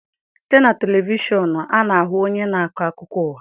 Site na televishọnụ,a na-ahụ onye na-akọ akụkọ ụwa.